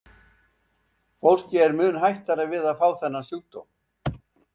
Fólki er mun hættara við að fá þennan sjúkdóm.